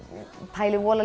pæli